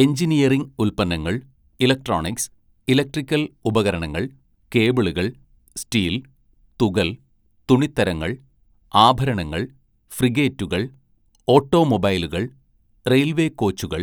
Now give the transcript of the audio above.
engineering ഉൽപ്പന്നങ്ങൾ, electronics, electrical ഉപകരണങ്ങൾ, കേബിളുകൾ, സ്റ്റീൽ, തുകൽ, തുണിത്തരങ്ങൾ, ആഭരണങ്ങൾ, ഫ്രിഗേറ്റുകൾ, ഓട്ടോമൊബൈലുകൾ, റെയിൽവേ കോച്ചുകൾ,